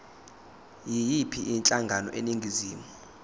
yiyiphi inhlangano eningizimu